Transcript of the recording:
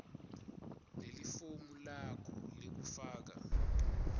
lelifomu lakho lekufaka